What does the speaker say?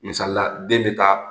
Misalila den be taa